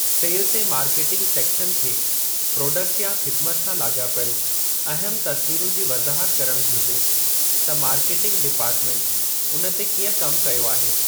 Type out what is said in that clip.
सेल्ज़ि ऐं marketing section खे product या ख़िदिमत सां लाॻापियलु अहमु तस्वीरुनि जी वज़ाहत करणु घुरिजे, त मार्केटिंग डिपार्टमेंट उन ते कीअं कमु कयो आहे।